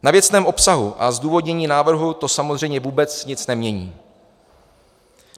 Na věcném obsahu a zdůvodnění návrhu to samozřejmě vůbec nic nemění.